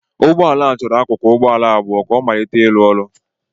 Ụgbọ ala a chọrọ akụkụ ụgbọ ala abụọ ka ọ malite ịrụ ọrụ